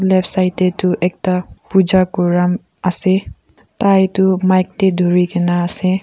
left side te toh ekta puja kura ase tai toh mic te duri kena ase.